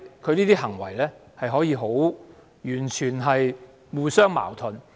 他的行為可以完全互相矛盾。